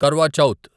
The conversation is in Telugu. కర్వా చౌత్